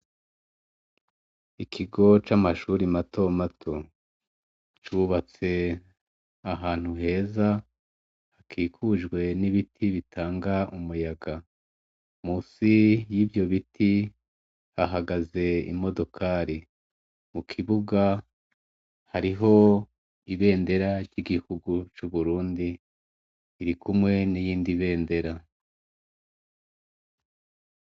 Ikigo camashure matomato cubatse ahantu heza hakikujwe nibiti bitanga umuyaga munsi hari ibiti hahagaze imodokari mukibuga hariho ibendera ryigihugu cuburundi birikumwe nirindi bendera